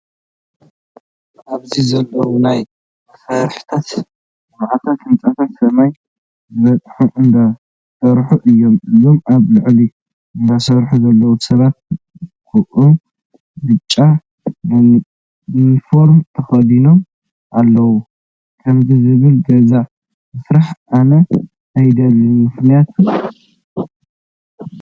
ኣብዚ ዘለው ናይ መሰረታዊ ልምዓታት ህንፃታት ሰማይ ዝበፅሕ እንዳሰርሑ እዮም። እዞም ኣብ ላዕሊ እንዳሰርሑ ዘለው ሰባት ጉዕ ብጫ ኒኒፎር ተከዲኖም አኣለው። ከምዙይ ዝበለ ገዛ ምስራሕ ኣነ ኣደልን። ምክንያቱ